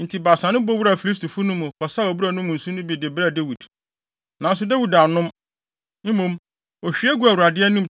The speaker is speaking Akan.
Enti Baasa no bɔ wuraa Filistifo no mu, kɔsaw abura no mu nsu no bi de brɛɛ Dawid. Nanso Dawid annom. Mmom, ohwie guu Awurade anim